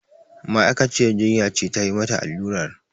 Ma'aikaciyar jinya ce tayi mata allurar